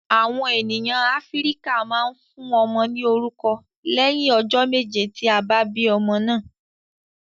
Awọn ènìyàn Áfíríkà máa ń fún ọmọ ní orúkọ lẹhin ọjọ méje tí a bí ọmọ náà